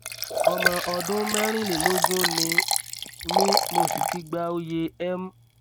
ọmọ ọdún mẹrìnlélógún ni mí mo sì ti gba oyè m